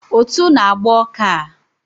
Ụtụ na agba ọka a